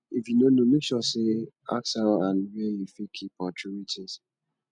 if you no know make sure say ask how and where you fit keep or troway things